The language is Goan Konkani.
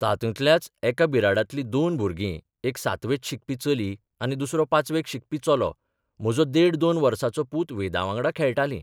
तातूंतल्याच एका बिराडांतलि दोन भुरगीं एक सातवेंत शिकपी चली आनी दुसरो पाचवेंत शिकपी चलो म्हजो देड दोन वर्साचो पूत वेदावांगडां खेळटालीं.